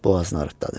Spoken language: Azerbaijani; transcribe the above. Boğazını arıtdadı.